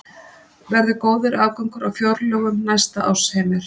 Verður góður afgangur á fjárlögum næsta árs, Heimir?